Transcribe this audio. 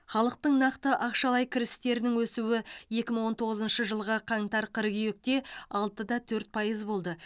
халықтың нақты ақшалай кірістерінің өсуі екі мың он тоғызыншы жылғы қаңтар қыркүйекте алтыда төрт пайыз болды